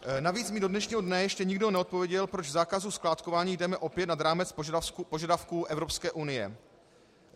Navíc mi do dnešního dne ještě nikdo neodpověděl, proč v zákazu skládkování jdeme opět nad rámec požadavků Evropské unie.